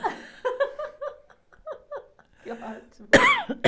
Que ótimo.